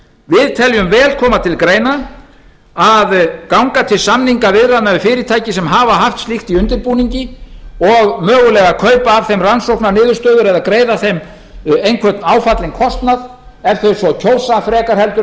við teljum vel koma til greina að ganga til samningaviðræðna við fyrirtæki sem hafa haft slíkt í undirbúningi og mögulega kaupa af þeim rannsóknarniðurstöður eða greiða þeim einhvern áfallinn kostnað ef þeir svo kjósa heldur